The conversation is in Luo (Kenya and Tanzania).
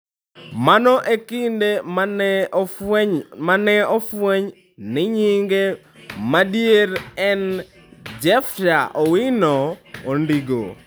Mano e kinde ma ne ofweny ni nyinge madier ne en Jefter Owino Ondigo.